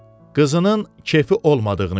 Qızının kefi olmadığını gördü.